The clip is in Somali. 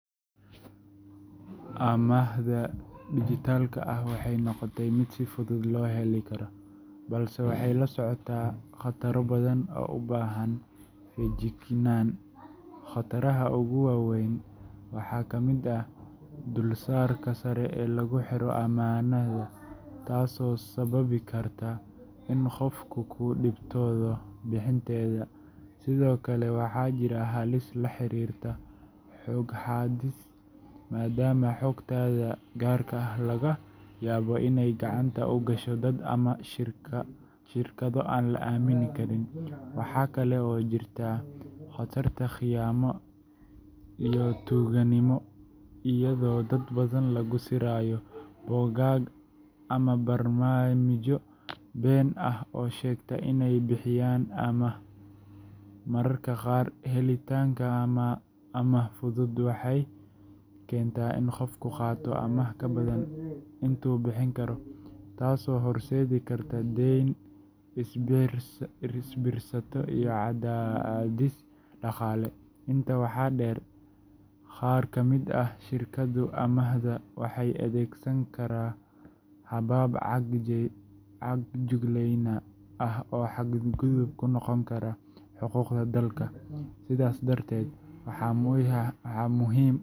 Amaahda dijitaalka ah waxay noqotay mid si fudud loo heli karo, balse waxay la socotaa khataro badan oo u baahan feejignaan. Khataraha ugu waa weyn waxaa ka mid ah dulsaarka sare ee lagu xiro amaahda, taasoo sababi karta in qofku ku dhibtoodo bixinteeda. Sidoo kale, waxaa jirta halis la xiriirta xog-xaadis, maadaama xogtaada gaarka ah laga yaabo inay gacanta u gasho dad ama shirkado aan la aamini karin. Waxaa kale oo jirta khatarta khiyaano iyo tuuganimo, iyadoo dad badan lagu sirayo bogag ama barnaamijyo been ah oo sheegta inay bixiyaan amaah. Mararka qaar, helitaanka amaah fudud waxay keentaa in qofku qaato amaah ka badan intuu bixin karo, taasoo horseedi karta deyn isbiirsata iyo cadaadis dhaqaale. Intaa waxaa dheer, qaar ka mid ah shirkadaha amaahda waxay adeegsadaan habab caga-juglayn ah oo xadgudub ku noqon kara xuquuqda dadka. Sidaas darteed, waxaa muhiim .